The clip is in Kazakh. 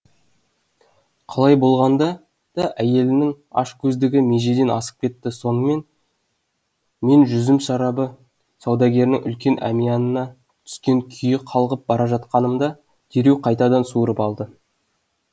қалай болғанда да әйелдің ашкөздігі межеден асып кетті сонымен мен жүзім шарабы саудагерінің үлкен әмиянына түскен күйі қалғып бара жатқанымда дереу қайтадан суырып алды